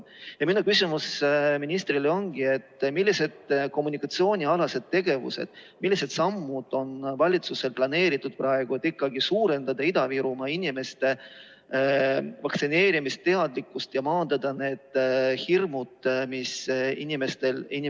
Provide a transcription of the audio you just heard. Minu küsimus ministrile ongi selle kohta, et millised kommunikatsioonialased tegevused, millised sammud on valitsusel planeeritud, et suurendada Ida-Virumaa inimeste vaktsineerimisteadlikkust ja maandada hirme, mis inimestel on.